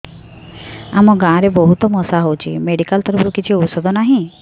ଆମ ଗାଁ ରେ ବହୁତ ମଶା ହଉଚି ମେଡିକାଲ ତରଫରୁ କିଛି ଔଷଧ ନାହିଁ